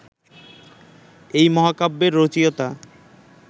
এই মহাকাব্যের রচয়িতা